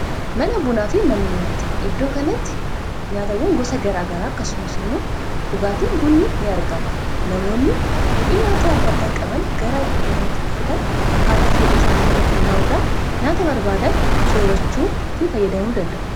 mana bunaa fi mannee nyaata iddoo kanatti nyaatawwan gosa garaagaraa akkasumas immoo dhugaatiin bunni ni argama namoonni feedhee nyaataa addaaddaa qaban garaa iddoo kanaatti dhufuudhaan akkaataa feedhii isaanitti irratti hundaa'uudhaan nyaata barbaadan soorachuu fi fayyadamuu dandaa'u